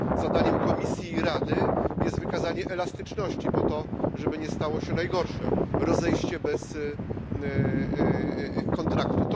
I zadaniem Komisji i Rady jest wykazanie elastyczności po to, żeby nie stało się najgorsze rozejście się bez kontraktu.